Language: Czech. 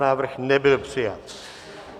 Návrh nebyl přijat.